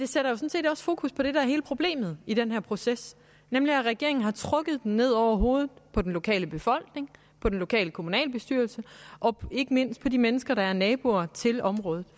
sådan set også fokus på det der er hele problemet i den her proces nemlig at regeringen har trukket ned over hovedet på den lokale befolkning på den lokale kommunalbestyrelse og ikke mindst på de mennesker der er naboer til området